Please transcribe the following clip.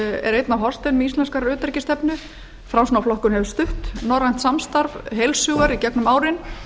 er einn af hornsteinum íslenskrar utanríkisstefnu framsóknarflokkurinn hefur stutt norrænt samstarf heils hugar í gengum árin